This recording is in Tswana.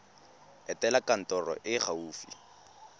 etela kantoro e e gaufi